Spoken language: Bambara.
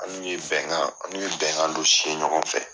An n'u ye bɛnkan an n'u ye bɛnkan dɔ ɲɔgɔn fɛ.